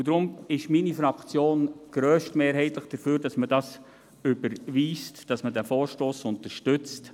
Deshalb ist meine Fraktion grösstmehrheitlich dafür, dass man diesen Vorstoss überweist, dass man ihn unterstützt.